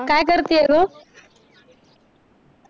काय करते ग